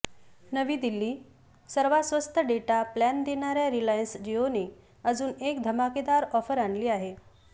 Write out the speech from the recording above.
नवी दिल्लीः सर्वात स्वस्त डेटा प्लॅन देणाऱ्या रिलायन्स जिओने अजून एक धमाकेदार ऑफर आणली आहे